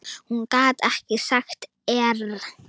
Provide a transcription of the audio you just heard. Hún gat ekki sagt err.